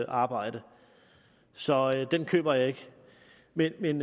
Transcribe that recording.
arbejde så den køber jeg ikke men men